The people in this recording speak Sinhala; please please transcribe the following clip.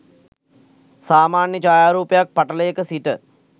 සාමාන්‍ය ඡායාරූපක් පටලයක සිට